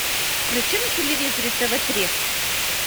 включи на телевизоре тв три